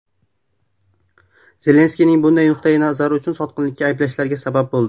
Zelenskiyning bunday nuqtai nazari uni sotqinlikda ayblashlariga sabab bo‘ldi.